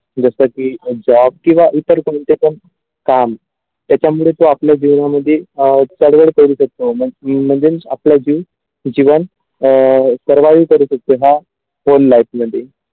जसा की job किंवा इतर कोणते पण काम त्याच्यामुळे जो आपल्या जीवनामध्ये अ चदवड करती असतो मग की आपल्या जीव जिवंत अ सर्वांत असते हा full life मध्ये.